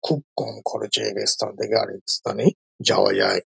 খুব কম খরচে এক স্থান আরেক স্থানে যাওয়া যায়।